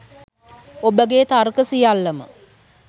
ඔබගේ තර්ක සියල්ලම